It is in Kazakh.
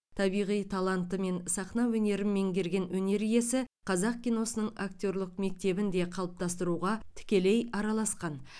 табиғи талантымен сахна өнерін меңгерген өнер иесі қазақ киносының актерлік мектебін де қалыптастыруға тікелей араласқан